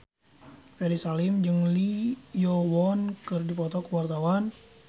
Ferry Salim jeung Lee Yo Won keur dipoto ku wartawan